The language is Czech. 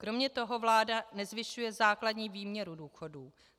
Kromě toho vláda nezvyšuje základní výměru důchodů.